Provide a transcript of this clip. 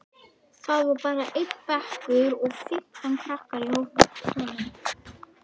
Það var bara einn bekkur og fimmtán krakkar í honum.